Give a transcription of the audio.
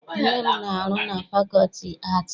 Nne m na-arụ na fakọlti aatị.